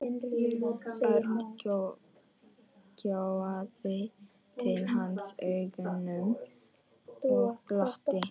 Örn gjóaði til hans augunum og glotti.